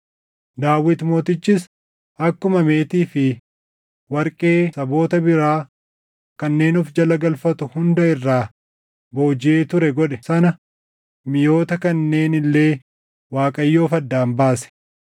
Daawit Mootichis akkuma meetii fi warqee saboota biraa kanneen of jala galfatu hunda irraa boojiʼee ture godhe sana miʼoota kanneen illee Waaqayyoof addaan baase.